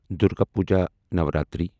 Durga puja Navratri